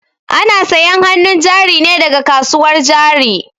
Ana sayan hanun jari ne daga kasuwar jari